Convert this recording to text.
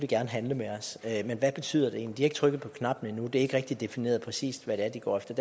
gerne handle med os men hvad betyder det egentlig ikke trykket på knappen endnu og det er ikke rigtig defineret præcis hvad det er de går efter